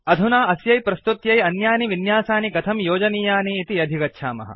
अधुना अस्यै प्रस्तुत्यै अन्यानि विन्यासानि कथं योजनीयानि इति अधिगच्छामः